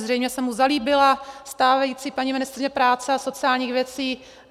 Zřejmě se mu zalíbila stávající paní ministryně práce a sociálních věcí.